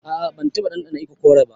A'a ban taba dandana ikokore ba.